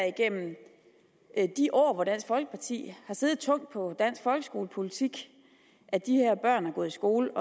igennem de år hvor dansk folkeparti har siddet tungt på dansk folkeskolepolitik at de her børn har gået i skole